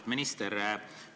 Lugupeetud minister!